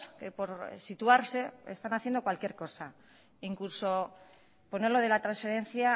que por situarse están haciendo cualquier cosa incluso poner lo de la transferencia a